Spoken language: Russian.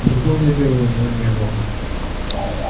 другого дела у него не было